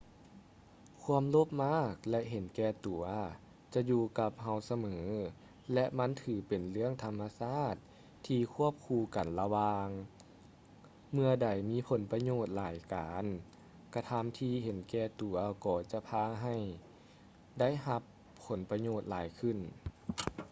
ຄວາມໂລບມາກ ແລະ ເຫັນແກ່ຕົວ ຈະຢູ່ກັບເຮົາສະເໝີ ແລະ ມັນຖືເປັນເລື່ອງທຳມະຊາດທີ່ຄວບຄູ່ກັນລະຫວ່າງ ເມື່ອໃດມີຜົນປະໂຫຍດຫຼາຍການກະທຳທີ່ເຫັນແກ່ຕົວກໍຈະພາໃຫ້ໄດ້ຮັບຜົນປະໂຫຍດຫຼາຍຂຶ້ນ